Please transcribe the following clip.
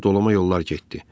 O xeyli dolama yollar getdi.